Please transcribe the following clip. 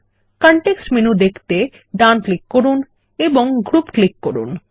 context menu দেখতে ডান click করুন এবং গ্রুপ ক্লিক করুন